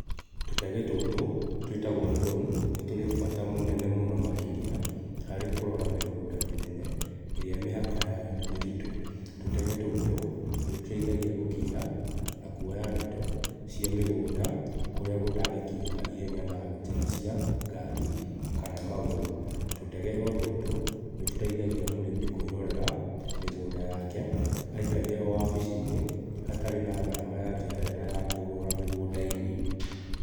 Tũtege tũtũ twĩtagwo drone, nĩ tũrĩ bata mũnene mũno makĩria harĩ kũrora mĩgũnda mĩnene ĩrĩa mĩhaka yayo nĩ mĩtitũ. Tũtege tũtũ nĩtũteithagia gũkinya na kuoya ndeto cia mĩgũnda kũrĩa gũtangĩkinyĩka ihenya na njĩra cia ngari kana magũrũ. Tũtege o tũtũ nĩtũteithagia mũrĩmi kwĩrorera mĩgũnda yake aikaire o wabici-inĩ hatarĩ na gharama ya njoherera ya kũrũra mĩgũnda-inĩ.